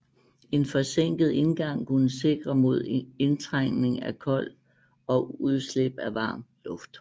En forsænket indgang kunne sikre mod indtrængning af kold og udslip af varm luft